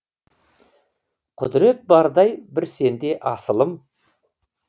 құдірет бардай бір сенде асылым